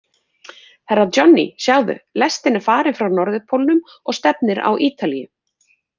Herra Johnny, sjáðu, lestin er farin frá Norðurpólnum og stefnir á Ítalíu.